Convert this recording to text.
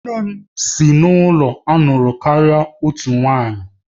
Nne m si n'ụlọ na-alụ karịa otu nwanyị